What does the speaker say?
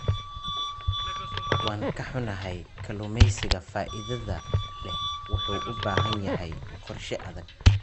Waan ka xunnahay, kalluumeysiga faa'iidada leh wuxuu u baahan yahay qorshe adag.